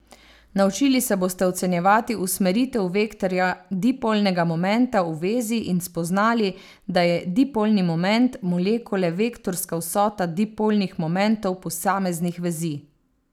Naučili se boste ocenjevati usmeritev vektorja dipolnega momenta v vezi in spoznali, da je dipolni moment molekule vektorska vsota dipolnih momentov posameznih vezi.